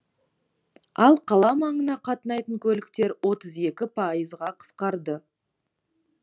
ал қала маңына қатынайтын көліктер отыз екі пайызға қысқарды